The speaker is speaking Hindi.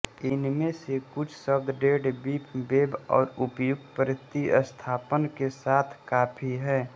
इनमें से कुछ शब्द डेड बीफ बेब और उपयुक्त प्रतिस्थापन के साथ कॉफी हैं